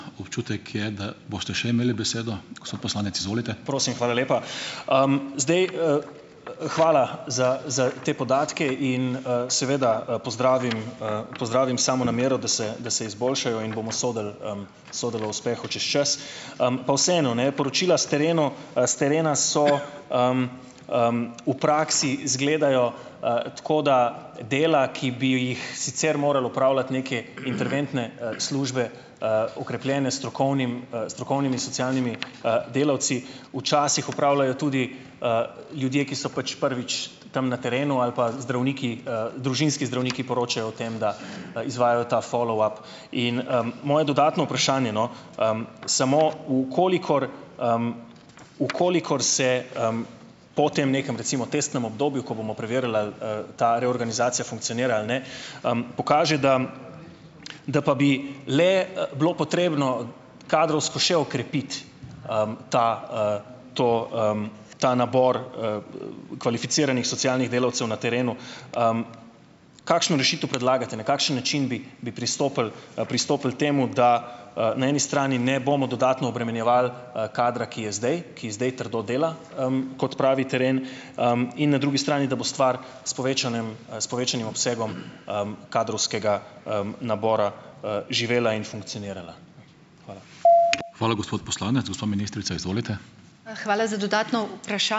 Prosim, hvala lepa. Zdaj, Hvala za za te podatke in, seveda, pozdravim, pozdravim samo namero, da se da se izboljšajo in bomo sodili, sodili o uspehu čez čas. Pa vseeno ne, poročila s terenu, s terena so, v praksi izgledajo, tako, da dela, ki bi ju, jih sicer morale opravljati neke interventne, službe, okrepljene s strokovnim, strokovnimi socialnimi, delavci, včasih opravljajo tudi, ljudje, ki so pač prvič tam na terenu, ali pa zdravniki, družinski zdravniki poročajo o tem, da, izvajajo ta follow up. In, moje dodatno vprašanje, no, samo v kolikor, v kolikor se, po tem nekem, recimo, testnem obdobju, ko bomo preverili, ali, ta reorganizacija funkcionira ali ne, pokaže, da da pa bi le, bilo potrebno kadrovsko še okrepiti, ta, to, ta nabor, kvalificiranih socialnih delavcev na terenu, kakšno rešitev predlagate. Na kakšen način bi bi pristopili, pristopili temu, da, na eni strani ne bomo dodatno obremenjevali, kadra, ki je zdaj, ki zdaj trdo dela, kot pravi teren. In na drugi strani, da bo stvar s povečanem, s povečanim obsegom, kadrovskega, nabora, živela in funkcionirala. Hvala.